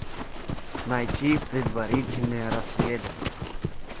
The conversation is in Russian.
найти предварительное расследование